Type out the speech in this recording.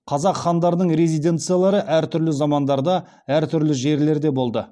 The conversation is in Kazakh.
қазақ хандарының резиденциялары әртүрлі замандарда әртүрлі жерлерде болды